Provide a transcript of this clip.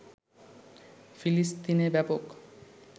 ফিলিস্তিনে ব্যাপক